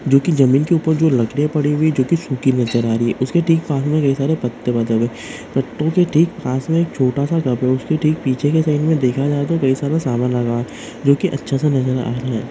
जो की जमीन के ऊपर जो लकड़ियां पड़ी हुई जो की सुखी नजर आ रही है उसके ठीक पास में के सारे पत्ते पत्तों के ठीक पास में एक छोटा सा घर हैउसकी ठीक पीछे के साइड में देखा जाए तो कैसा सामान लगा जो कि अच्छा नजर रहा है।